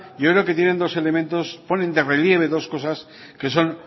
yo creo que tienen dos elementos o ponen de relieve dos cosas que son